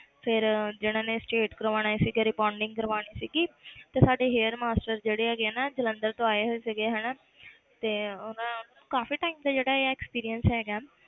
ਫਿਰ ਜਿਹਨਾਂ ਨੇ straight ਕਰਵਾਉਣੇ ਸੀਗੇ rebonding ਕਰਵਾਉਣੀ ਸੀਗੀ ਤੇ ਸਾਡੇ hair master ਜਿਹੜੇ ਹੈਗੇ ਆ ਨਾ ਜਲੰਧਰ ਤੋਂ ਆਏ ਹੋ ਸੀਗੇ ਹਨਾ ਤੇ ਉਹ ਨਾ ਕਾਫ਼ੀ time ਤੋਂ ਜਿਹੜਾ ਆ experience ਹੈਗਾ